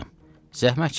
"Qızım, zəhmət çəkmə.